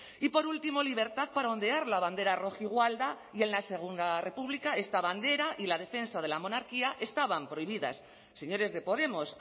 y por último libertad para ondear la bandera rojigualda y en la segunda república esta bandera y la defensa de la monarquía estaban prohibidas señores de podemos